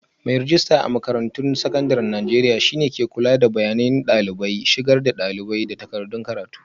Mai rejista a makarantun sakandaren Najeriya shi ne ke kula da bayanan dalibai, shigar da dalibai, da takardun karatu.